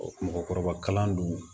mɔgɔkɔrɔba kalan dun